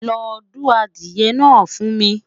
lọ du adìye na fu mi